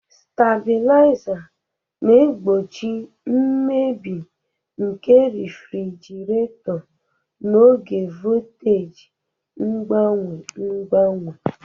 Stabuliza na-egbochi mmebi nke refrjiraeto n'oge voltaji mgbanwe mgbanwe.